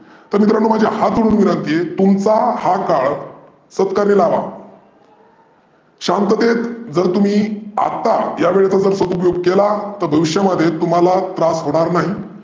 तर मित्रांनो हात जोडून विनंती आहे तुमचा हा काळ सतकर्मी लावा. शांततेत जर तुम्ही आता या वेळेचा सदुपयोग जर केला तर भविष्यामध्ये तुम्हाला त्रास होणार नाही.